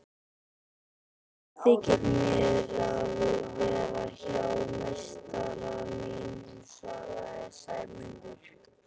Gott þykir mér að vera hjá meistara mínum svaraði Sæmundur.